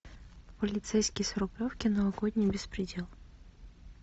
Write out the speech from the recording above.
полицейский с рублевки новогодний беспредел